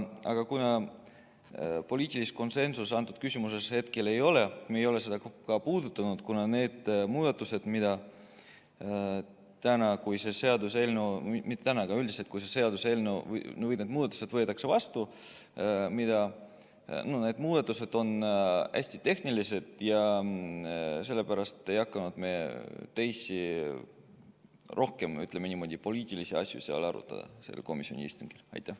Aga kuna poliitilist konsensust selles küsimuses hetkel ei ole, me ei ole seda ka puudutanud, kuna need muudatused – juhul, kui selle seaduseelnõu muudatused võetakse vastu – on hästi tehnilised ja me ei hakanud poliitilisi asju sellel komisjoni istungil arutama.